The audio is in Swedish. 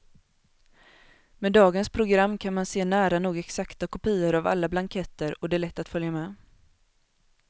Med dagens program kan man se nära nog exakta kopior av alla blanketter och det är lätt att följa med.